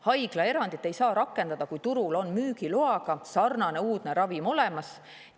Haiglaerandit ei saa rakendada, kui turul on sarnane uudne müügiloaga ravim olemas.